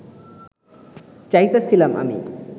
চাইতাছিলাম আমি